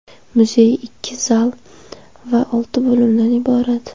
Muzey ikki zal va olti bo‘limdan iborat.